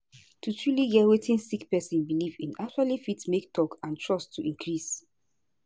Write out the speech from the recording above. to truly get wetin sick pesin belief in actually fit make talk and trust to increase